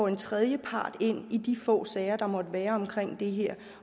en tredjepart ind i de få sager der måtte være omkring det her